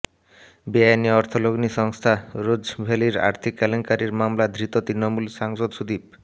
বেআইনি অর্থ লগ্নি সংস্থা রোজ ভ্যালির আর্থিক কেলেঙ্কারির মামলায় ধৃত তৃণমূল সাংসদ সুদীপ